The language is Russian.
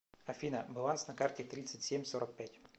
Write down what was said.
афина баланс на карте тридцать семь сорок пять